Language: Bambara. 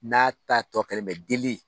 N'a ta tɔ kɛlen bɛ delili